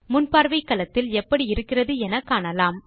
முன்பார்வை களத்தில் எப்படி இருக்கிறது என காணலாம்